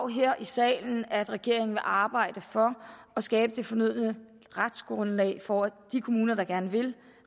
her i salen at regeringen vil arbejde for at skabe det fornødne retsgrundlag for at de kommuner der gerne vil